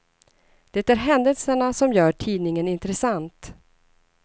Det är händelserna som gör tidningen intressant.